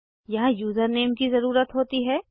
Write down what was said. यहाँ यूज़रनेम की ज़रुरत होती है